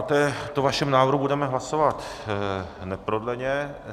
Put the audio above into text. O tomto vašem návrhu budeme hlasovat neprodleně.